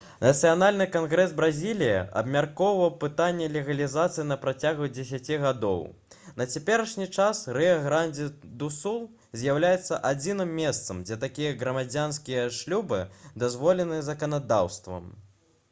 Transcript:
нацыянальны кангрэс бразіліі абмяркоўваў пытанне легалізацыі на працягу 10 гадоў на цяперашні час рыа-грандзі-ду-сул з'яўляецца адзіным месцам дзе такія грамадзянскія шлюбы дазволены заканадаўствам